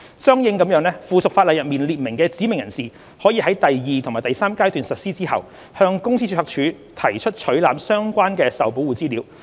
相應地，附屬法例中列明的"指明人士"可於第二及第三階段實施後，向公司註冊處提出取覽相關的受保護資料。